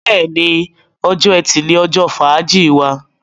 béèni, Ọjọ́ Ẹti ní ojó fàájì wá.